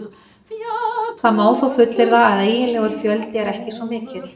Það má þó fullyrða að eiginlegur fjöldi er ekki svo mikill.